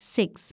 six